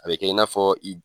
A bi kɛ i n'a fɔ